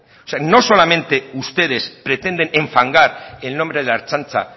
o sea no solamente ustedes pretenden enfangar el nombre de la ertzaintza